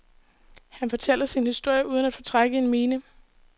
Han fortæller sin historie uden at fortrække en mine.